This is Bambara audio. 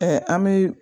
an bɛ